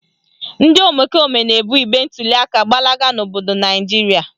Ndị omekome na-ebu igbe ntuliaka gbalaga n'obodo Naijiria